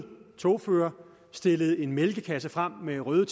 togfører stillet en mælkekasse frem med røde